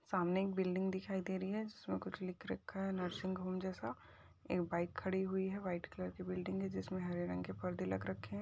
सामने एक बिल्डिंग दिखाई दे रही है जिसमें कुछ लिख रखा है नर्सिंग होम जैसा एक बाइक खड़ी हुई है व्हाइट कलर की बिल्डिंग है। जिसमे हरे रंग के पर्दे लग रखे हैं।